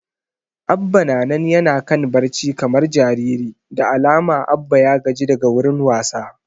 Abba na nan yana kan barci kamar jariri, da alama Abba ya gaji daga wurin wasa